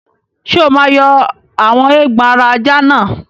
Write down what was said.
Ṣé o máa yọ àwọn eégbọn ara ajá náà?